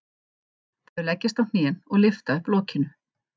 Þau leggjast á hnén og lyfta upp lokinu.